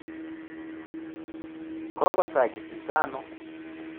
Kokosakitita ano?